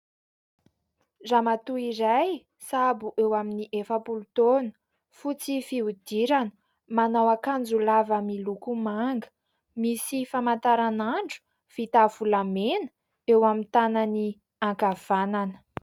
Ramato iray sahabo eo amin'ny efa-polo taona, fotsy fihodirana, manao ankanjo lava miloko manga, misy famantaran'andro vita avy amin'ny volamena eo amin'ny tanan'ny ankavanana.